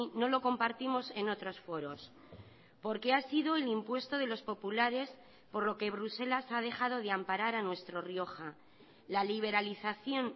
no lo compartimos en otros foros porque ha sido el impuesto de los populares por lo que bruselas ha dejado de amparar a nuestro rioja la liberalización